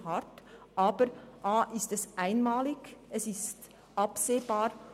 Aber es ist eine einmalige Sache und somit absehbar.